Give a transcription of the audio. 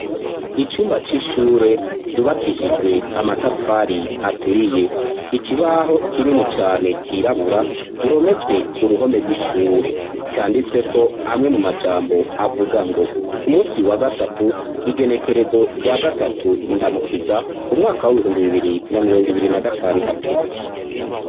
Icumba c'ishure ryubakishijwe amatafari aturiye ikibaho kinini cane cirabura gihometswe ku ruhome rw'ishure, canditsweko amwe mu majambo avuga ngo ku munsi wa gatatu igenekerezo rya gatatu ndamukiza umwaka w'ibihumbi bibiri na mirongo ibiri na gatandatu.